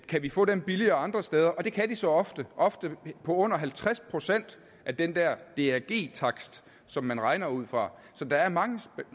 kan vi få dem billigere andre steder og det kan de så ofte ofte til under halvtreds procent af den der drg takst som man regner ud fra så der er mange